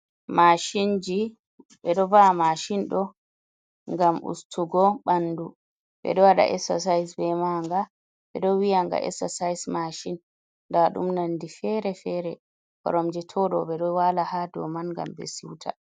Mashinji be do vaa mashindo gam ustugo bandu be do wada essasa'is be maga. be do wiyanga essasa'is mashin. dadum nondi fere-fere. Koromje todo be ɗo wala ha dauman gam be siuta.